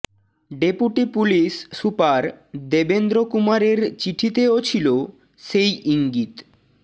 deputy police super Devendra কুমারের চিঠিতেও ছিল সেই ইজ্ঞিত